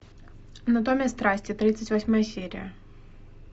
анатомия страсти тридцать восьмая серия